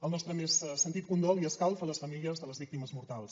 el nostre més sentit condol i escalf a les famílies de les víctimes mortals